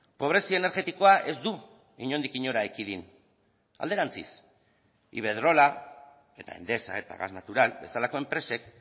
pobrezia energetikoa ez du inondik inora ekidin alderantziz iberdrola eta endesa eta gas natural bezalako enpresek